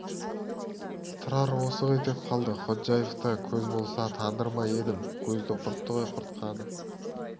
тұрар осы ғой деп қалды ходжаев та көз болса таныр ма едім көзді құртты ғой құртқаны